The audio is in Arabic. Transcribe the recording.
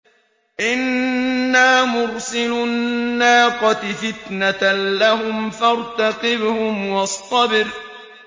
إِنَّا مُرْسِلُو النَّاقَةِ فِتْنَةً لَّهُمْ فَارْتَقِبْهُمْ وَاصْطَبِرْ